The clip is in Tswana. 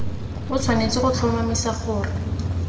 o tshwanetse go tlhomamisa gore